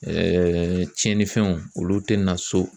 Ɛɛ tiɲɛnifɛnw olu tɛ na so